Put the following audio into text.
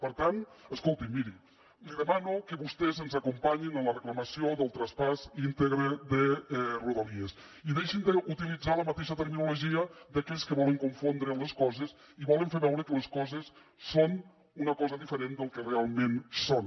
per tant escolti’m miri li demano que vostès ens acompanyin en la reclamació del traspàs íntegre de rodalies i deixin d’utilitzar la mateixa terminologia d’aquells que volen confondre les coses i volen fer veure que les coses són una cosa diferent del que realment són